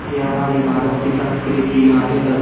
ये हमारी भारत की संस्कृति यहाँ पे दर --